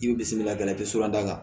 I bi bisimila i bɛ surun da